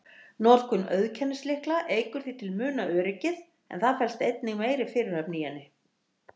Notkun auðkennislykla eykur því til muna öryggið, en það felst einnig meiri fyrirhöfn í henni.